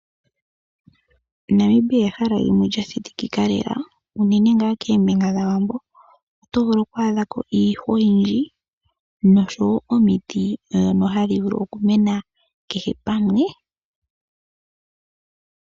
Namibia ehala ndyono lya shitikika lela, uunene ngaa keembinga dhawambo. Oto vulu oku adhako iihwa oyindji, noshowo omiti ndhono hadhi vulu okumena kehe pamwe.